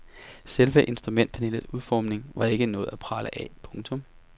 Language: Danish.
Selve instrumentpanelets udformning var ikke noget at prale af. punktum